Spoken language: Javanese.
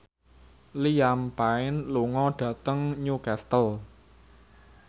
Liam Payne lunga dhateng Newcastle